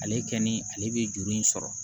Ale kɛ ni ale bɛ juru in sɔrɔ